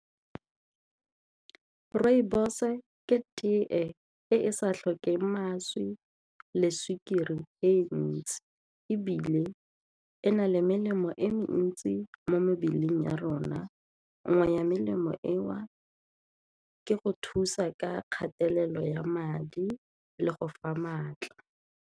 Rooibos ke teye e e sa tlhokeng mašwi le sukiri e ntsi ebile e na le melemo mo e mentsi mo mebeleng ya rona, nngwe ya melemo eo ka go thusa ka kgatelelo ya madi le go fa maatla.